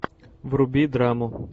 вруби драму